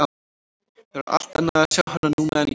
Það var allt annað að sjá hana núna en í gær.